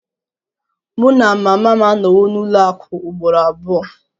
Mụ na mama m anọwo n'ụlọ akụ ugboro abụọ